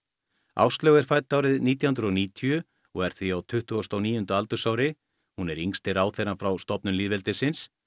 Áslaug er fædd árið nítján hundruð og níutíu og er því á tuttugasta og níunda aldursári hún er yngsti ráðherrann frá stofnun lýðveldisins